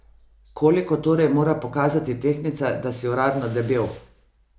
Koliko torej mora pokazati tehtnica, da si uradno debel?